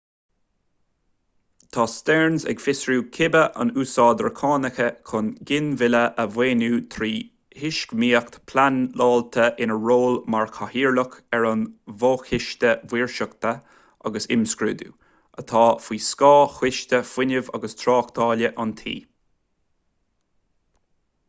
tá stearns ag fiosrú cibé an úsáidtear cánacha chun ginmhilleadh a mhaoiniú trí thuismíocht phleanáilte ina ról mar chathaoirleach ar an bhfo-choiste maoirseachta agus imscrúduithe atá faoi scáth choiste fuinnimh agus tráchtála an tí